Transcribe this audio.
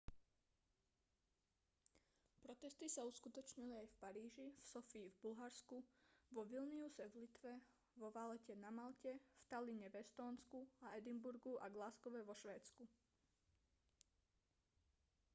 protesty sa uskutočnili aj v paríži v sofii v bulharsku vo vilniuse v litve vo valette na malte v talline v estónsku a edinburghu a glasgowe v škótsku